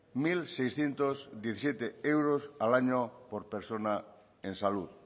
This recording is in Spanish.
mil seiscientos diecisiete euros al año por persona en salud